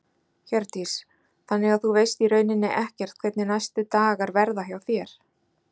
Hjördís: Þannig að þú veist í rauninni ekkert hvernig næstu dagar verða hjá þér?